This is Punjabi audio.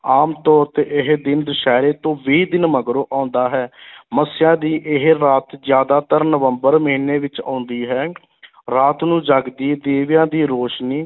ਆਮ ਤੌਰ 'ਤੇ ਇਹ ਦਿਨ ਦਸਹਿਰੇ ਤੋਂ ਵੀਹ ਦਿਨ ਮਗਰੋਂ ਆਉਂਦਾ ਹੈ ਮੱਸਿਆ ਦੀ ਇਹ ਰਾਤ ਜ਼ਿਆਦਾਤਰ ਨਵੰਬਰ ਮਹੀਨੇ ਵਿੱਚ ਆਉਂਦੀ ਹੈ ਰਾਤ ਨੂੰ ਜਗਦੀ ਦੀਵਿਆਂ ਦੀ ਰੋਸ਼ਨੀ